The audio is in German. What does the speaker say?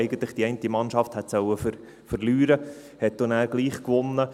Eigentlich sollte die eine Mannschaft verlieren, sie gewann dann aber dennoch.